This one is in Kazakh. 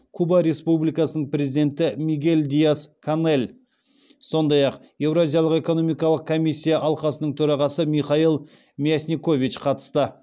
куба республикасының президенті мигель диас канель сондай ақ еуразиялық экономикалық комиссия алқасының төрағасы михаил мясникович қатысты